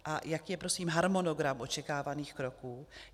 A jaký je prosím harmonogram očekávaných kroků?